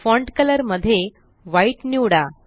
font colour मध्ये white निवडा